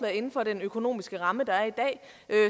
inden for den økonomiske ramme der er i dag